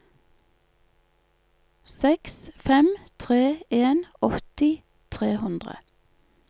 seks fem tre en åtti tre hundre